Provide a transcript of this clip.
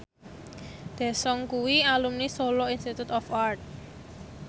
Daesung kuwi alumni Solo Institute of Art